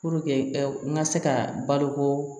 Puruke n ka se ka baloko